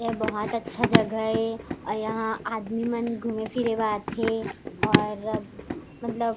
ये बहोत अच्छा जगह हे और यहाँ आदमी मन घूमे- फिरे आवत थे और म मतलब --